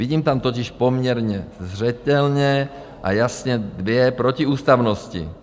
Vidím tam totiž poměrně zřetelně a jasně dvě protiústavnosti.